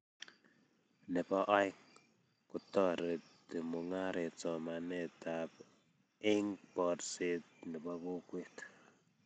nebo aeng, kotoreti mungaret somanetab eng boorset nebo kokwet